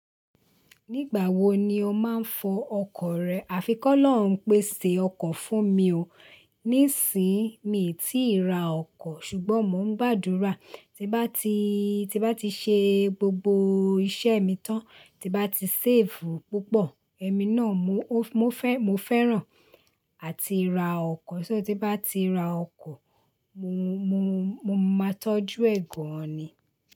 Nígbà wo ni o máa ń fọ ọkọ̀ rẹ? Àfi k'ọlọhun pèsè ọkọ̀ fún mi o. Nísìyin mi ò tí ì ra ọkọ̀, ṣùgbọ́n mò ń gbàdúrà tí bá ti, tí bá ti ṣe gbogbo iṣẹ́ mi tán, tí bá ti séèfù púpọ̀, ẹmi náà mo fẹ́, mo fẹ́ràn à ti ra ọkọ̀. Só tí bá ti ra ọkọ̀, mo, mo, mo máa tọ́jú ẹ̀ gan ni.